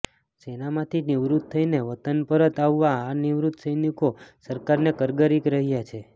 સેનામાંથી નિવૃત્ત થઈને વતન પરત આવવા આ નિવૃત્ત સૈનિકો સરકારને કરગરી રહ્યાં છે